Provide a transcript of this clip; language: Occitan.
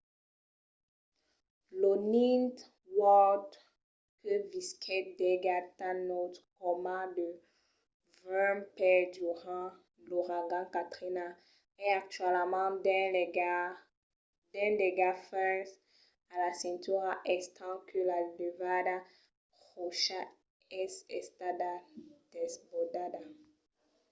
lo ninth ward que visquèt d'aigats tan nauts coma de 20 pès durant l'auragan katrina es actualament dins d'aiga fins a la cintura estent que la levada pròcha es estada desbordada